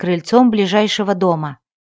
крыльцом ближайшего дома